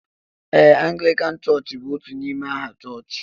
Ee, Anglican church bú otú n'ime aha chọchị